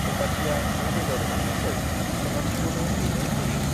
रुपाथिया मै बेदर एउनायखौ सनाथिखौनो हैनो होयो।